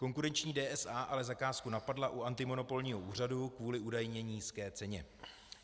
Konkurenční DSA ale zakázku napadla u antimonopolního úřadu kvůli údajně nízké ceně.